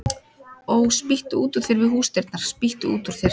Ó, spýttu út úr þér við húsdyrnar, spýttu út úr þér